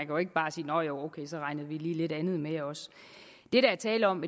jo ikke bare sige nå ja ok så regner vi lidt andet med også det der er tale om